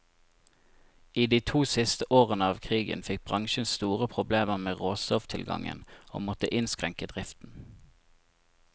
I de to siste årene av krigen fikk bransjen store problemer med råstofftilgangen, og måtte innskrenke driften.